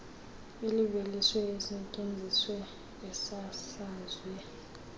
iveliswe isetyenziswe isasazwe